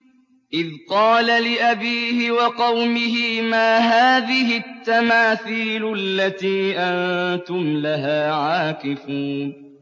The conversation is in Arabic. إِذْ قَالَ لِأَبِيهِ وَقَوْمِهِ مَا هَٰذِهِ التَّمَاثِيلُ الَّتِي أَنتُمْ لَهَا عَاكِفُونَ